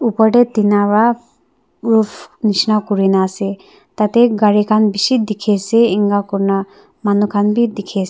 upor teh tina para roof nishna kure na ase tah teh gari khan bishi dikhi ase inka koina manu khan bhi dikhi as--